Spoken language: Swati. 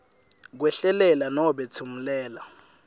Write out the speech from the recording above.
khwehlelela nobe tsimulela